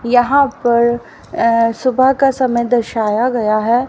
यहां पर अं सुबह का समय दर्शाया गया है।